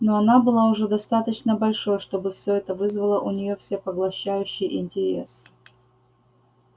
но она была уже достаточно большой чтобы всё это вызвало у нее всепоглощающий интерес